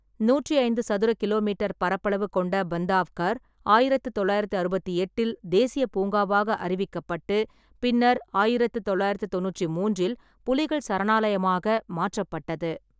நூற்றி ஐந்து சதுர கிலோமீட்டர் பரப்பளவு கொண்ட பந்தாவ்கர், ஆயிரத்து தொள்ளாயிரத்து அறுபத்தி எட்டில் தேசிய பூங்காவாக அறிவிக்கப்பட்டு பின்னர் ஆயிரத்து தொள்ளாயிரத்து தொண்ணூற்றி மூன்றில் புலிகள் சரணாலயமாக மாற்றப்பட்டது.